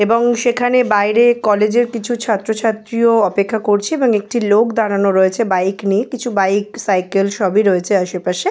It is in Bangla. এবং সেখানে বাইরের কলেজের কিছু ছাত্র ছাত্রীরাও অপেক্ষা করছে এবং একটি লোক দাঁড়ানো রয়েছে বাইক নিয়ে কিছু বাইক সাইকেল সবই রয়েছে আশেপাশে।